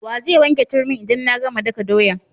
Wa zai wanke turmin' idan na gama daka doyan?